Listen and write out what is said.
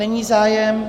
Není zájem.